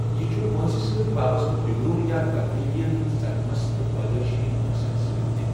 یہِ چھ وٲنٛسہِ سٕتۍ وابسطہٕ بِگرن یا تبدیلین صدمس تہٕ پٲدٲیشی نوقسن سۭتۍ تہِ۔